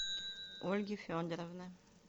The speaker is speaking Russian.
ольги федоровны